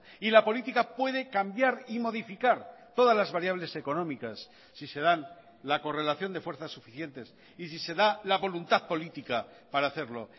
y la política puede cambiar y modificar todas las variables económicas si se dan la correlación de fuerzas suficientes y si se da la voluntad política para hacerlo